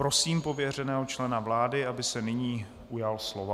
Prosím pověřeného člena vlády, aby se nyní ujal slova.